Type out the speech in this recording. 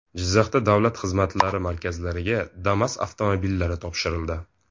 Jizzaxda davlat xizmatlari markazlariga Damas avtomobillari topshirildi .